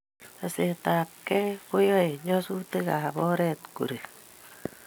Tesetai ab kei ko yae nyasutik ab oret ko rek